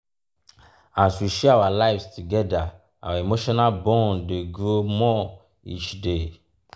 as we share our lives together our emotional bond dey grow more each day.